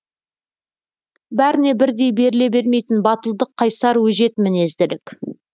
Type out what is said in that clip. бәріне бірдей беріле бермейтін батылдық қайсар өжет мінезділік